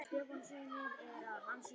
Hæstiréttur stöðvar aftöku